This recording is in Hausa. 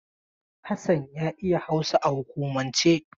Hassan ya iya Hausa a hukumance.